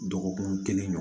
Dɔgɔkun kelen